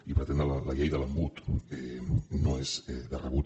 i pretendre la llei de l’embut no és de rebut